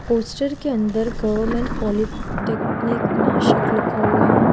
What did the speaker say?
Post के अंदर government polytechnic Nashik लिखा हुआ है।